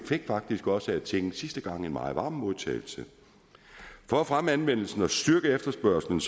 fik faktisk også af tinget sidste gang en meget varm modtagelse for at fremme anvendelsen og styrke efterspørgslen